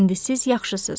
İndi siz yaxşısız.